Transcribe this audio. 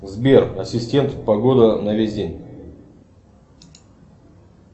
сбер ассистент погода на весь день